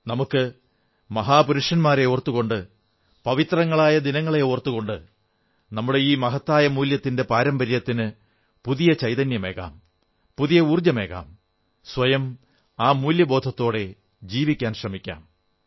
നമുക്ക് മഹാപുരുഷന്മാരെ ഓർത്തുകൊണ്ട് പവിത്രങ്ങളായ ദിനങ്ങളെ ഓർത്തുകൊണ്ട് നമ്മുടെ ഈ മഹത്തായ മൂല്യത്തിന്റെ പാരമ്പര്യത്തിന് പുതിയ ചൈതന്യമേകാം പുതിയ ഊർജ്ജമേകാം സ്വയം ആ മൂല്യബോധത്തോടെ ജീവിക്കാൻ ശ്രമിക്കാം